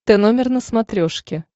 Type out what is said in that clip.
тномер на смотрешке